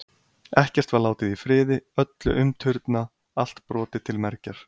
Ekkert var látið í friði, öllu umturnað, allt brotið til mergjar.